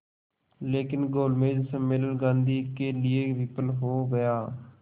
लेकिन गोलमेज सम्मेलन गांधी के लिए विफल हो गया